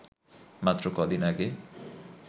মাত্র কদিন আগে